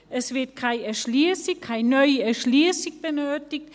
Es wird keine neue Erschliessung benötigt.